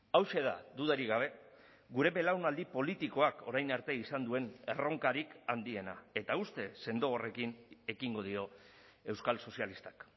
hauxe da dudarik gabe gure belaunaldi politikoak orain arte izan duen erronkarik handiena eta uste sendo horrekin ekingo dio euskal sozialistak